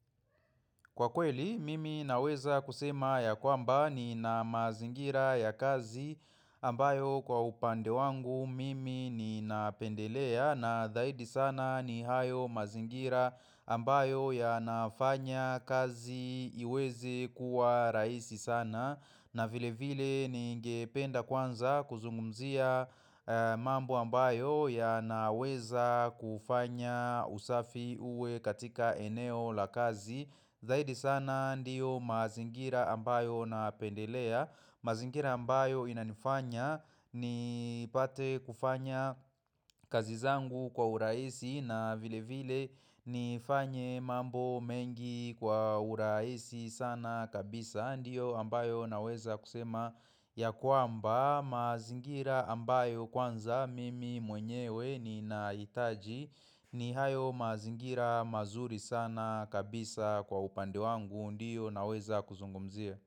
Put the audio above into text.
Kwa kweli, mimi naweza kusema ya kwamba ni na mazingira ya kazi ambayo kwa upande wangu mimi ni napendelea na dhaidi sana ni hayo mazingira ambayo ya nafanya kazi iweze kuwa rahisi sana. Na vile vile ninge penda kwanza kuzungumzia mambo ambayo ya naweza kufanya usafi uwe katika eneo la kazi Zaidi sana ndiyo mazingira ambayo na pendelea mazingira ambayo inanifanya ni pate kufanya kazi zangu kwa urahisi na vile vile ni fanye mambo mengi kwa urahisi sana kabisa Ndiyo ambayo naweza kusema ya kwamba mazingira ambayo kwanza mimi mwenyewe ni na hitaji ni hayo mazingira mazuri sana kabisa kwa upande wangu Ndiyo naweza kuzungumzia.